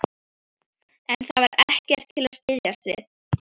En það var ekkert til að styðjast við.